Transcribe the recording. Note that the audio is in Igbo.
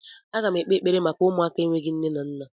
Agam ekpe ekpere maka ụmụaka enweghị nne na nna!